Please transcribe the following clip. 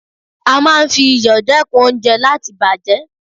A máa ń fi iyọ̀ dẹ́kun oúnjẹ láti bàjẹ́.